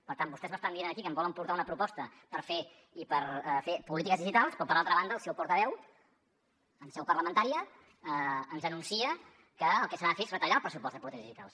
per tant vostès m’estan dient aquí que em volen portar una proposta per fer polítiques digitals però per altra banda el seu portaveu en seu parlamentària ens anuncia que el que s’ha de fer és retallar el pressupost de polítiques digitals